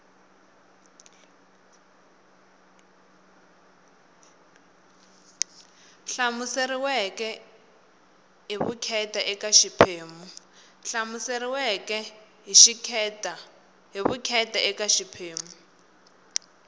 hlamuseriweke hi vukheta eka xiphemu